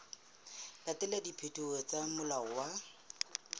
latela dipehelo tsa molao wa